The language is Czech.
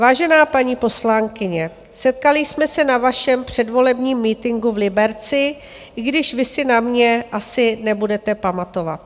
Vážená paní poslankyně, setkali jsme se na vašem předvolebním mítinku v Liberci, i když vy si na mě asi nebudete pamatovat.